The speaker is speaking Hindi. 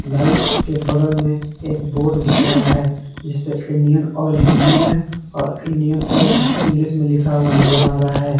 लाइट के बगल में एक बोर्ड दिख रहा है जिस पे इंडियन ऑयल हिंदी मे और इंडियन ऑयल इंग्लिश मे लिखा हुआ नजर आ रहा है।